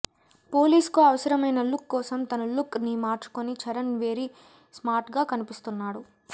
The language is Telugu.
పోలీస్ కు అవసరమైన లుక్ కోసం తన లుక్ ని మార్చుకొని చరణ్ వెరీ స్మార్ట్ గా కనిపిస్తున్నాడు